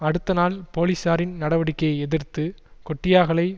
அடுத்த நாள் போலிசாரின் நடவடிக்கையை எதிர்த்து கொட்டியாகலை